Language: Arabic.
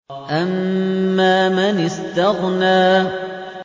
أَمَّا مَنِ اسْتَغْنَىٰ